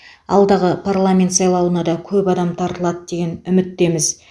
алдағы парламент сайлауына да көп адам тартылады деген үміттеміз